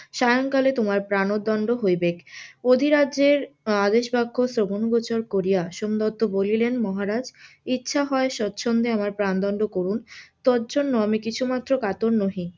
সায়ংকালে তোমার প্রাণদন্ড হইবে, অধিরাজ্যের আদেশ শ্রবণ গোচর করিয়া সোমদত্ত বলিলেন মহারাজ ইচ্ছা হয় স্বছন্দে আমার প্রাণদন্ড করুন তজন্য আমি কিছুমাত্র কাতর নহি.